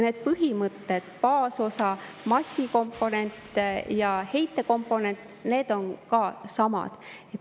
Need põhimõtted – baasosa, massikomponent ja heitekomponent – on ka samad.